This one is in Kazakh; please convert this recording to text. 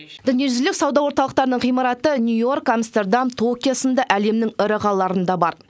дүниежүзілік сауда орталықтарының ғимараты нью йорк амстердам токио сынды әлемнің ірі қалаларында бар